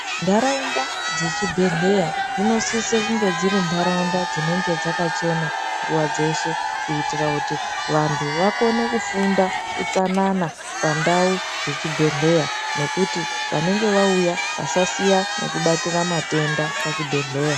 Ndaraunda dzechibhehleya dzinosise kunge dziri ndaraunda dzinenge dzakachena nguva dzeshe kuitira kuti vanhu vakone kufunda utsanana pandau dzechibhehleya ngekuti vanenge vauya vasasiya nekubatira matenda pachibhedhleya.